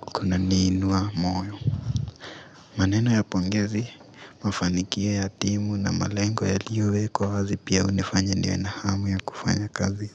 kuna ni inuwa moyo maneno ya pongezi mafanikio ya timu na malengo yalio wekwa wazi pia hunifanya niwe na hamu ya kufanya kazi.